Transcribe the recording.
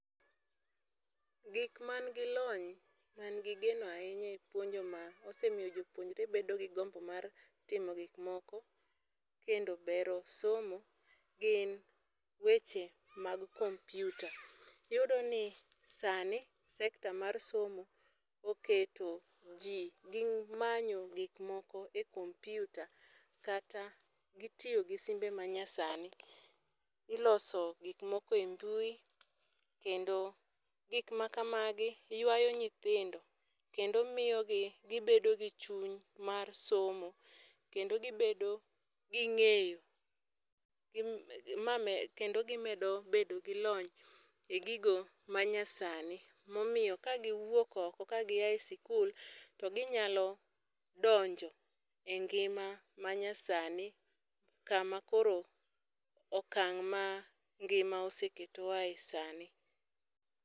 Gik ma nigi lony, ma nigi geno ahinya e puonjo ma osemiyo jopuonjore bedo gi gombo mar timo gik moko, kendo bero somo, gin weche mag computer. Iyudoni sani, sector mar somo, oketo ji gi manyo gik moko e computer, kata gi tiyo gi simbe ma nyasani. Iloso gik moko e mbui, kendo gik ma kamagi ywayo nyithindo, kendo miyogi gibedo gi chuny mar somo. Kendo gibedo gi ngéyo kendo gimedo bedo gi lony e gigo ma nyasani. Momiyo ka giwuok oko, ka gi ae sikul to ginyalo donjo e ngima ma nyasani, kama koro okang' ma ngima oseketowae sani.